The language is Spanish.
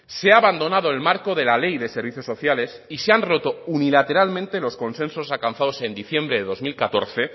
se ha abandonado el marco de la ley de servicios sociales y se han roto unilateralmente los consensos alcanzados en diciembre de dos mil catorce